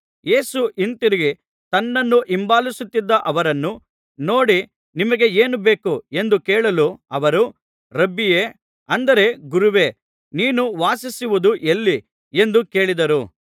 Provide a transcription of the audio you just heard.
ಯೇಸು ಹಿಂತಿರುಗಿ ತನ್ನನ್ನು ಹಿಂಬಾಲಿಸುತ್ತಿದ್ದ ಅವರನ್ನು ನೋಡಿ ನಿಮಗೆ ಏನು ಬೇಕು ಎಂದು ಕೇಳಲು ಅವರು ರಬ್ಬಿಯೇ ಅಂದರೆ ಗುರುವೇ ನೀನು ವಾಸಿಸುವುದು ಎಲ್ಲಿ ಎಂದು ಕೇಳಿದರು